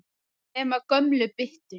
Nema gömlu byttunni.